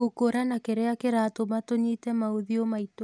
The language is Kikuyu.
Gũkũrana kĩrĩa kĩratũma tũnyite maũthiũ maitũ